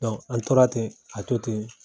an tora ten ka to ten